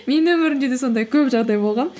менің өмірімде де сондай көп жағдай болған